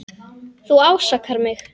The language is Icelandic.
Þú ásakar mig.